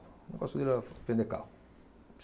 O negócio dele era vender carro.